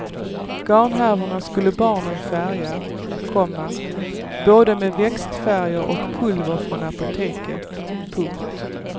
Garnhärvorna skulle barnen färga, komma både med växtfärger och pulver från apoteket. punkt